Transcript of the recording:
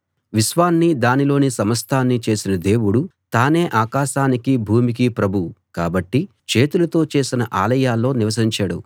విశ్వాన్నీ దానిలోని సమస్తాన్నీ చేసిన దేవుడు తానే ఆకాశానికీ భూమికీ ప్రభువు కాబట్టి చేతులతో చేసిన ఆలయాల్లో నివసించడు